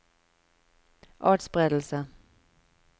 atspredelse